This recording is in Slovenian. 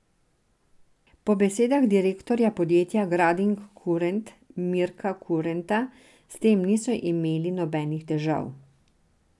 Po besedah direktorja podjetja Grading Kurent Mirka Kurenta s tem niso imeli nobenih težav.